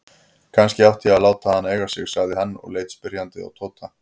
Kannski ég ætti að láta hana eiga sig? sagði hann og leit spyrjandi á Tóta.